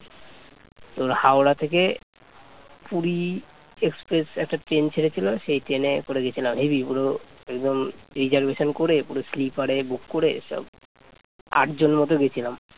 Puri express একটা train ছেড়েছিল সেই ট্রেনে করে গেছিলাম, হেবি পুরো এবং reservation করে পুরো sleeper এ book করে সব আটজন মতো গেছিলাম